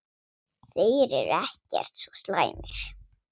Þeir eru ekkert svo slæmir.